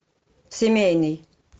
семейный